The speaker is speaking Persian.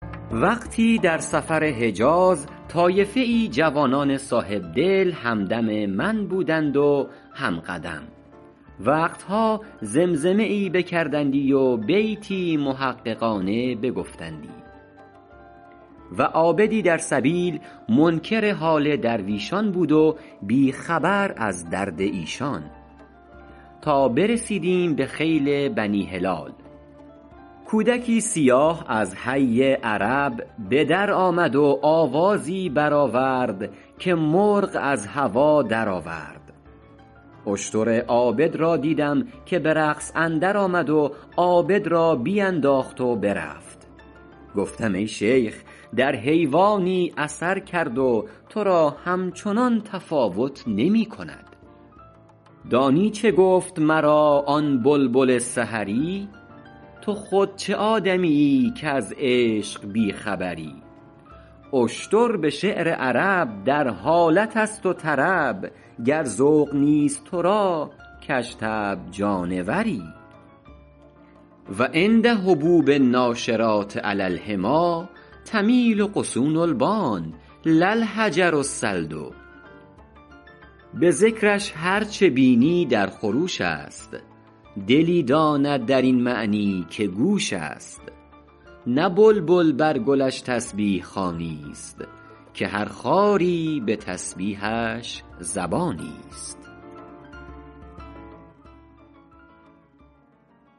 وقتی در سفر حجاز طایفه ای جوانان صاحبدل هم دم من بودند و هم قدم وقت ها زمزمه ای بکردندی و بیتی محققانه بگفتندی و عابدی در سبیل منکر حال درویشان بود و بی خبر از درد ایشان تا برسیدیم به خیل بنی هلال کودکی سیاه از حی عرب به در آمد و آوازی بر آورد که مرغ از هوا در آورد اشتر عابد را دیدم که به رقص اندر آمد و عابد را بینداخت و برفت گفتم ای شیخ در حیوانی اثر کرد و تو را همچنان تفاوت نمی کند دانی چه گفت مرا آن بلبل سحری تو خود چه آدمیی کز عشق بی خبری اشتر به شعر عرب در حالت است و طرب گر ذوق نیست تو را کژطبع جانوری و عند هبوب الناشرات علی الحمیٰ تمیل غصون البان لا الحجر الصلد به ذکرش هر چه بینی در خروش است دلی داند در این معنی که گوش است نه بلبل بر گلش تسبیح خوانی است که هر خاری به تسبیحش زبانی است